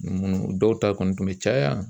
dɔw ta kɔni tun bɛ caya.